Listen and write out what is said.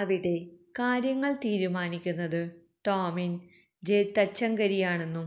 അവിടെ കാര്യങ്ങള് തീരുമാനിക്കുന്നത് ടോമിന് ജെ തച്ചങ്കരിയാണെന്നും